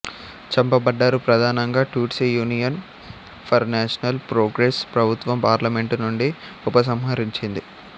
చంపబడ్డారు ప్రధానంగా Tutsi Union for National Progress ప్రభుత్వం parliament నుండి ఉపసంహరించింది